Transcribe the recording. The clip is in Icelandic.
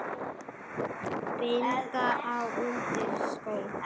bind ég undir skó